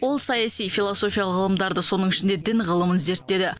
ол саяси философиялық ғылымдарды соның ішінде дін ғылымын зерттеді